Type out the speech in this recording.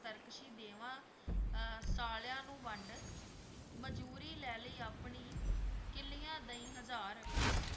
ਤਰਕਸ਼ੀ ਦੇਵਾਂ ਅਹ ਸਾਲਿਆਂ ਨੂੰ ਵੰਡ ਮਜੂਰੀ ਲੈ ਲਈਂ ਆਪਣੀ, ਕਿੱਲੀਆਂ ਦੇਈਂ ਹਜ਼ਾਰ